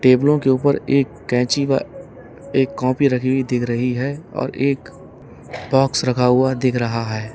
टेबलों के ऊपर एक कैंची व एक कॉपी रखी हुई दिख रही है और एक बॉक्स रखा हुआ दिख रहा है।